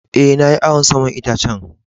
Eh, na yi awon saman itacen.